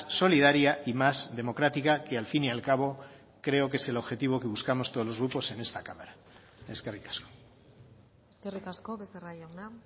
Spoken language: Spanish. solidaria y más democrática que al fin y al cabo creo que es el objetivo que buscamos todos los grupos en esta cámara eskerrik asko eskerrik asko becerra jauna